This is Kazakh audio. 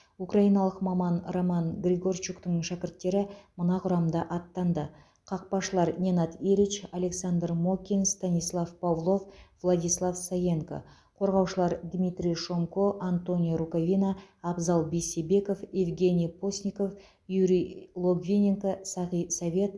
украиналық маман роман григорчуктың шәкірттері мына құрамда аттанды қақпашылар ненад эрич александр мокин станислав павлов владислав саенко қорғаушылар дмитрий шомко антонио рукавина абзал бейсебеков евгений постников юрий логвиненко сағи совет